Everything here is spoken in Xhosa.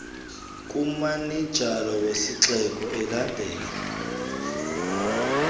kumanejala wesixeko elandela